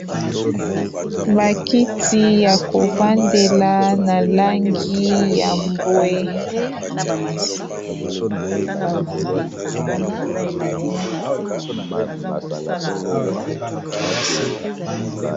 Ba kiti ya kovandela na langi ya mbwe.